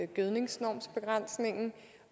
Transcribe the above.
gødningsnormer